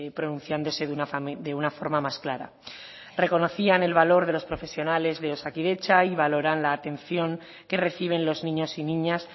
pronunciándose de una forma más clara reconocían el valor de los profesionales de osakidetza y valoran la atención que reciben los niños y niñas